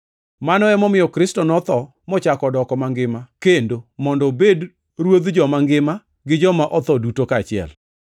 Ma emomiyo Kristo notho mochako odoko mangima kendo mondo obed Ruodh joma ngima gi joma otho duto kaachiel.